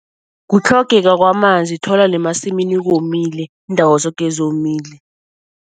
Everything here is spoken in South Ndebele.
Kutlhogeka kwamanzi. Uthola nemasimini komile, iindawo zoke zomile.